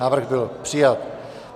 Návrh byl přijat.